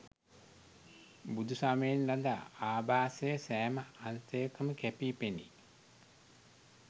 බුදුසමයෙන් ලද ආභාසය සෑම අංශයකම කැපී පෙනේ.